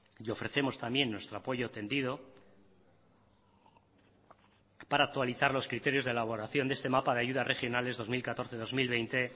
y ofrecemos también nuestro apoyo tendido para actualizar los criterios de elaboración de este mapa de ayudas regionales dos mil catorce dos mil veinte